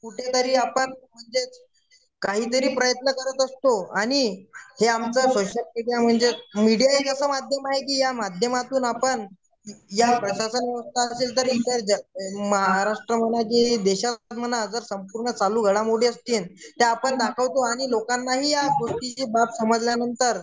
कुठेतरी आपण म्हणजे काहीतरी प्रयत्न करत असतो आणि हे आमचं मीडिया एक असं माध्यम आहे की आपण या माध्यमातून आपण महाराष्ट्रामध्ये चालू घडामोडी त्या आपण दाखवतो लोकांना ही या गोष्टीची बाब समजल्यानंतर